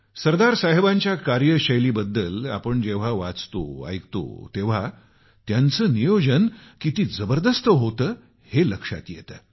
सरदार साहेबांच्या कार्यशैलीबद्दल जेव्हा आपण वाचतो ऐकतो तेव्हा त्यांचं नियोजन किती जबरदस्त होतं हे लक्षात येतं